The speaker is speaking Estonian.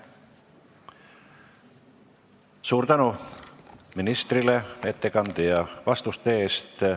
Suur tänu ministrile ettekande ja vastuste eest!